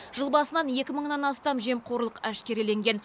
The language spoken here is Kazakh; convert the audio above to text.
жыл басынан екі мыңнан астам жемқорлық әшкереленген